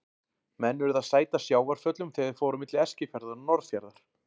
Menn urðu að sæta sjávarföllum þegar þeir fóru á milli Eskifjarðar og Norðfjarðar.